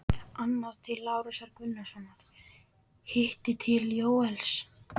Annað til Lárusar Gunnarssonar, hitt til Jóels.